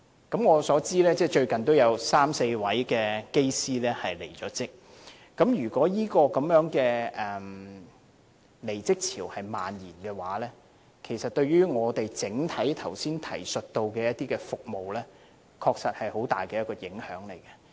據我所知，最近也有三四位機師離職，如果這離職潮蔓延的話，其實對我剛才提及的服務，確實會有很大影響。